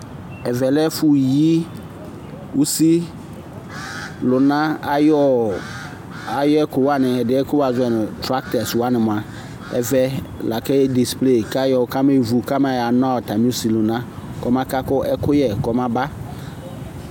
EƐʋɛ lɛ ɛfʋyi usilʋna ayɔɔ, ayɛkʋwani, adiɛ yɛ kʋ woazɔɛ nu trakɛs wanimua, ɛvɛ laka ye disple kayɔ kamewu atami usilʋna kɔmaka ku ɛkʋyɛ kɔmaba